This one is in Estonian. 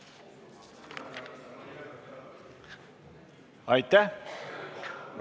Aitäh!